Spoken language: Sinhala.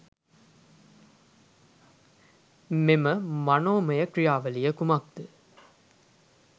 මෙම මනෝමය ක්‍රියාවලිය කුමක් ද?